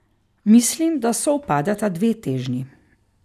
Mislim, da sovpadata dve težnji.